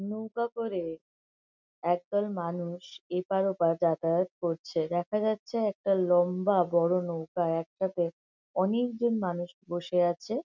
নৌকা করে একদল মানুষ এপার ওপার যাতায়াত করছে। দেখা যাচ্ছে একটা লম্বা বড় নৌকা একটা তে একটাতে অনেকজন মানুষ বসে আছে।